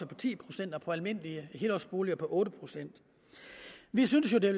på ti procent og på almindelige helårsboliger på otte procent vi synes jo det